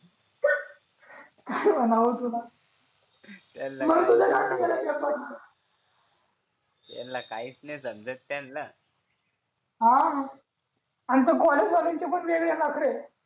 काय म्हणाव तुला त्यानाच काहीच नाय समजत त्याना हा आणि त्या कॉलेज वाल्यांचे वेगळे नखरे